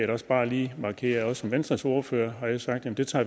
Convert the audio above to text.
da også bare lige markere at jeg som venstres ordfører har sagt at vi tager